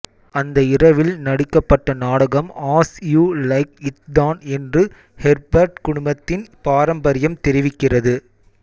அந்த இரவில் நடிக்கப்பட்ட நாடகம் ஆஸ் யூ லைக் இட் தான் என்று ஹெர்பர்ட் குடும்பத்தின் பாரம்பரியம் தெரிவிக்கிறது